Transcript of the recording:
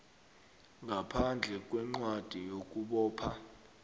ngaphandle kwencwadi yokubopha